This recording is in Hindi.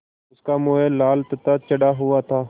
उसका मुँह लाल तथा चढ़ा हुआ था